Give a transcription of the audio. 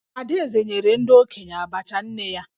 Adaeze nyere ndị okenye Abacha nne ya